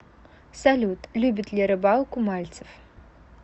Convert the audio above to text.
салют любит ли рыбалку мальцев